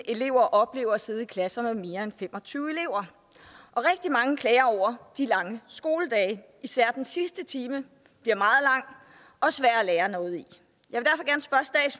elever oplever at sidde i klasser med mere end fem og tyve elever og rigtig mange klager over de lange skoledage især den sidste time bliver meget lang og svær at lære noget i jeg